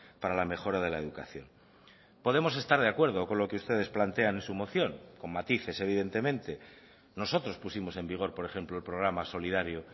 para la mejora de la educación podemos estar de acuerdo con lo que ustedes plantean en su moción con matices evidentemente nosotros pusimos en vigor por ejemplo el programa solidario